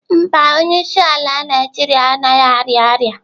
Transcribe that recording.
Mba, onyeisiala Naijiria anaghị arịa ọrịa.